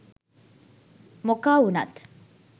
මොකා වුනත්